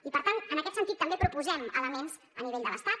i per tant en aquest sentit també proposem elements en el terreny de l’estat